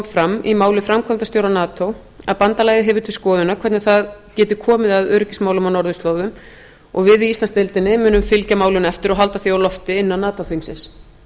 fram í máli framkvæmdastjóra nato að bandalagið hefur til skoðunar hvernig það geti komið að öryggismálum á norðurslóðum og við í íslandsdeildinni munum fylgja málinu eftir og halda því á lofti innan nato þingsins